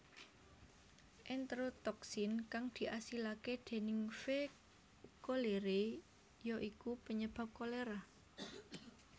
Enterotoksin kang diasilake déning V cholerae ya iku panyebab kolera